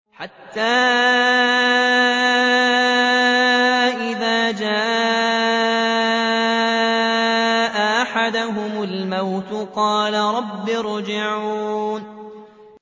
حَتَّىٰ إِذَا جَاءَ أَحَدَهُمُ الْمَوْتُ قَالَ رَبِّ ارْجِعُونِ